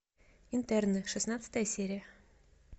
интерны шестнадцатая серия